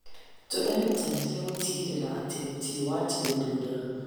Tũrerutanĩria gũtigĩrĩra atĩ gũtirĩ watigwo thutha.